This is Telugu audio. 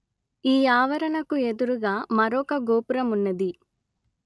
ఈ ఆవరణకు ఎదురుగా మరొక గోపురమున్నది